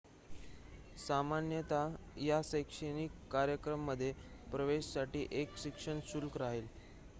सामान्यतः या शैक्षणिक कार्यक्रमांमध्ये प्रवेशासाठी एक शिक्षण शुल्क राहील